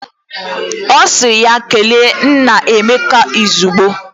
O siri ya kele nna Emeka izugbo.